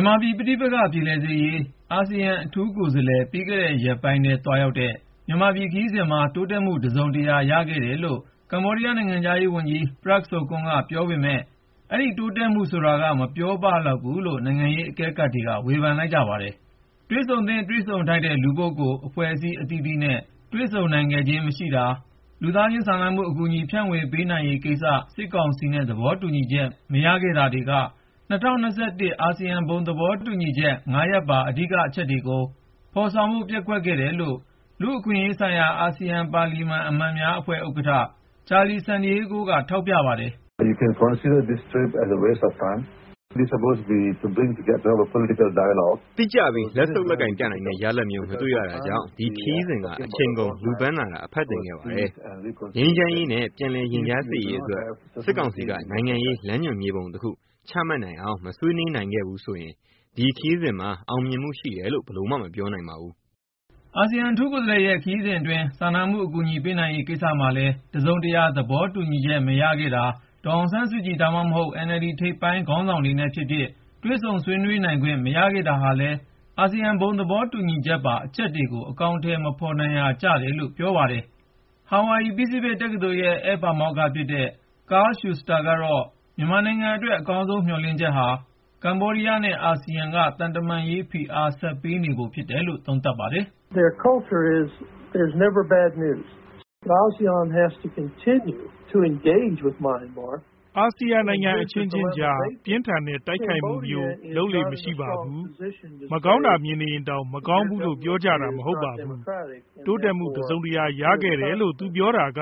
ြန်မာပြည် ပဋိပက္ခ ပြေလည်စေရေး အာဆီယံအထူးကိုယ်စားလှယ် ပြီးခဲ့တဲ့ ရက်ပိုင်းထဲ သွားရောက်တဲ့ မြန်မာပြည်ခရီးစဉ်မှာ တိုးတက်မှု တစုံတရာ ရခဲ့တယ်လို့ ကမ္ဘောဒီးယားနိုင်ငံခြားရေးဝန်ကြီး Prak Sokhonn က ပြောနေပေမဲ့ ၊ အဲဒီတိုးတက်မှုဆိုတာက မပြောပလောက်ဘူးလို့ နိုင်ငံရေးအကဲခတ်တွေက ဝေဖန်လိုက်ကြပါတယ်။ တွေ့ဆုံသင့် တွေ့ဆုံထိုက်တဲ့ လူပုဂ္ဂိုလ်၊ အဖွဲ့အစည်း အသီးသီးနဲ့ တွေ့ဆုံနိုင်ခဲ့ခြင်း မရှိတာ ၊ လူသားချင်းစာနာမှု အကူအညီ ဖြန့်ဝေ ပေးနိုင်ရေးကိစ္စ စစ်ကောင်စီနဲ့ သဘောတူညီချက် မရခဲ့တာတွေက ၂၀၂၁ အာဆီယံ ဘုံသဘောတူညီချက် (၅)ရပ်ပါ အဓိကအချက်တွေကို ဖေါ်ဆောင်ဖို့ ပျက်ကွက်ခဲ့တယ်လို့ လူ့အခွင့်အရေးဆိုင်ရာ အာဆီယံ ပါလီမန်အမတ်များအဖွဲ့ ဥက္ကဌ Charlies Santiago က ထောက်ပြပါတယ်။ " တိကျပြီး လက်ဆုပ်လက်ကိုင်ပြနိုင်တဲ့ ရလဒ်မျိုး မတွေ့ရတာကြောင့် ဒီခရီးစဉ်က အချိန်ကုန်လူပန်းတာသာ အဖတ်တင်ခဲ့ပါတယ်။ ငြိမ်းချမ်းရေးနဲ့ ပြန်လည်ရင်ကြားစေ့ရေးအတွက် စစ်ကောင်စီက နိုင်ငံရေးလမ်းညွှန်မြေပုံတခု ချမှတ်နိုင်အောင် မဆွေးနွေး နိုင်ခဲ့ဘူးဆိုရင် ဒီခရီးစဉ်မှာ အောင်မြင်မှု ရှိတယ်လို့ ဘယ်လိုမှ မပြောနိုင်ပါဘူး ။ " အာဆီယံအထူးကိုယ်စားလှယ်ရဲ့ခရီးစဉ်အတွင်း စာနာမှု အကူအညီပေးနိုင်ရေး ကိစ္စမှာလည်း တစုံတရာ သဘောတူညီချက် မရခဲ့တာ၊ ဒေါ်အောင်ဆန်းစုကြည် ဒါမှမဟုတ် NLD ပါတီ ထိပ်ပိုင်းခေါင်းဆောင်တွေနဲ့ဖြစ်ဖြစ် တွေ့ဆုံ ဆွေးနွေးခွင့် မရခဲ့တာဟာလည်း အာဆီယံ ဘုံသဘောတူညီချက်ပါ အချက်တွေကို အကောင်အထည် မဖော်နိုင်ရာကျတယ်လို့ ပြောပါတယ်။ Hawaii Pacific တက္ကသိုလ်ရဲ့ ဧည့်ပါမောက္ခ ဖြစ်တဲ့ Carl Shuster ကတော့ မြန်မာနိုင်ငံအတွက် အကောင်းဆုံးမျှော်လင့်ချက်ဟာ ကမ္ဘောဒီးယားနဲ့ အာဆီယံက သံတမန်ရေးဖိအား ဆက်ပေးနေဖို့ ဖြစ်တယ်လို့ သုံးသပ်ပါတယ်။ " အာဆီယံနိုင်ငံ အချင်းချင်းကြား ပြင်းထန်တဲ့ တိုက်ခိုက်မှုမျိုး လုပ်လေ့ မရှိပါဘူး။ မကောင်းတာ မြင်နေရင်တောင် မကောင်းဘူးလို့ ပြောကြာတာ မဟုတ်ပါဘူး။ တိုးတက်မှု တစုံတရာ ရခဲ့တယ်လို့ သူပြောနေတာက